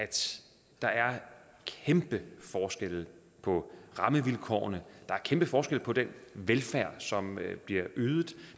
der er kæmpe forskelle på rammevilkårene der er kæmpe forskel på den velfærd som bliver ydet